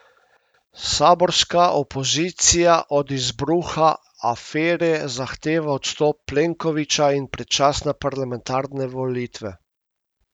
Saborska opozicija od izbruha afere zahteva odstop Plenkovića in predčasne parlamentarne volitve.